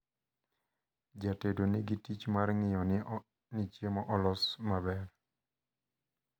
Jatedo nigi tich mar ng`iyo ni chiemo olos maber.